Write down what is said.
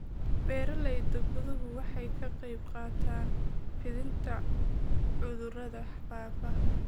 Beeralayda guduhu waxay ka qayb qaataan fidinta cudurrada faafa.